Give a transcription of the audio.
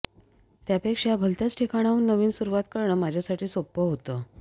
त्यापेक्षा भलत्याच ठिकाणाहून नवीन सुरुवात करणं माझ्यासाठी सोपं होतं